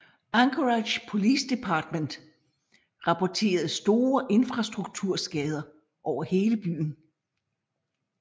Anchorage Police Department rapporterede store infrastrukturskader over hele byen